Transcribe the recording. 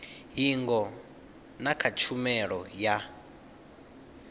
hingo na kha tshumelo ya